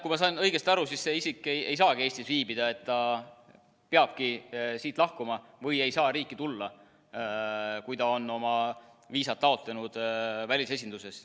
Kui ma sain õigesti aru, siis see isik ei saagi Eestis viibida, ta peabki siit lahkuma, või ei saa riiki tulla, kui ta on oma viisa taotlenud välisesinduses.